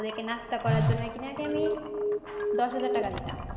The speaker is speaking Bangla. ওদের কে নাস্তা করার জোনো নাকিনাকি আমি দশ হাজার টাকা দিলাম।